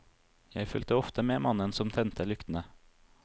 Jeg fulgte ofte med mannen som tente lyktene.